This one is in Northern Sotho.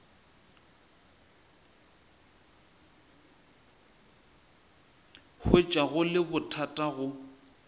hwetša go le bothata go